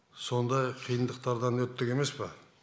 сондай қиындықтардан өттік емес па